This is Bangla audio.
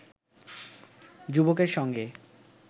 যুবকের সঙ্গে